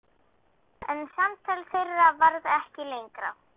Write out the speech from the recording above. En samtal þeirra varð ekki lengra.